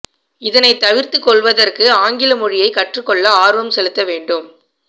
இதனைத் தவீர்த்துக் கொள்வதற்கு ஆங்கில மொழியை கற்றுக் கொள்ள ஆர்வம் செலுத்த வேண்டும்